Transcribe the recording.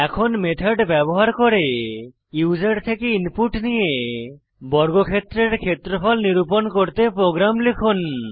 এখন মেথড ব্যবহার করে ইউসার থেকে ইনপুট নিয়ে বর্গক্ষেত্রের ক্ষেত্রফল নিরুপণ করতে প্রোগ্রাম লিখুন